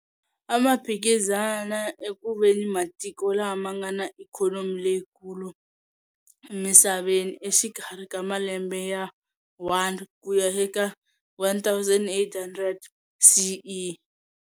Amaphikizana ekuveni matiko lama ngana ikhonomi leyi kulu emisaveni exikarhi ka malembe ya 1 kuya eka 1800 CE.